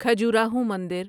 کھجوراہو مندر